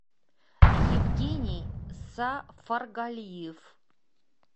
евгений сафаргалиев